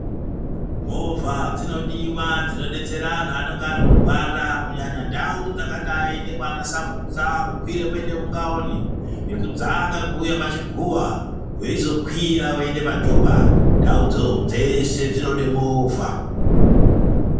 Movha dzinodiwa dzinodetsera anthu anonge arikurwara kunyanya ndau dzakadai nekwana Samutsa kukwira kuende kuNgaoni nekudzaka kuuya kwaChiguwa weizokwira uende paJopa ndaudzo dzeshe dzinode movha.